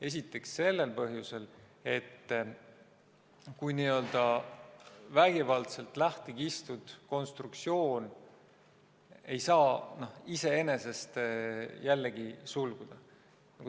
Esiteks sellel põhjusel, et n-ö vägivaldselt lahti kistud konstruktsioon ei saa iseenesest jälle sulguda.